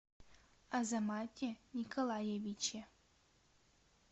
азамате николаевиче